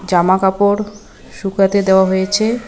জামাকাপড় শুকাতে দেওয়া হয়েছে।